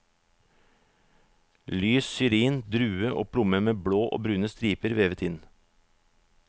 Lys syrin, drue og plomme med blå og brune striper vevet inn.